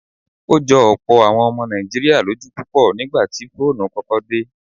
Ó jọ ọ̀pọ̀ àwọn ọmọ Nàìjíríà lójú púpọ̀ nígbà tí fóònù kọ́kọ́ dé.